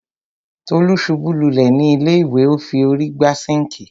Tolú ṣubú lulẹ̀ ni ilé ìwẹ̀,o fi órí gbá sinkii.